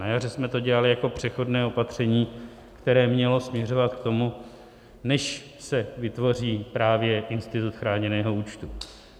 Na jaře jsme to dělali jako přechodné opatření, které mělo směřovat k tomu, než se vytvoří právě institut chráněného účtu.